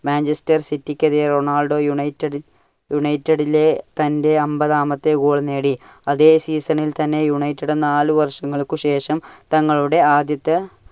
Manchester city ക്ക് എതിരെ Ronaldo united~united ലെ റൊണാൾഡോ തന്റെ അമ്പതാമത്തെ goal നേടി. അതെ season ൽ തന്നെ united നാല് വർഷങ്ങൾക്ക് ശേഷം തങ്ങളുടെ ആദ്യത്തെ